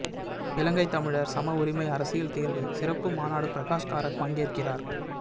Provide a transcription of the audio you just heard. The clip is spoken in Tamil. இலங்கை தமிழர் சமஉரிமை அரசியல் தீர்வு சிறப்பு மாநாடு பிரகாஷ்காரத் பங்கேற்கிறார்